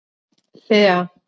Lea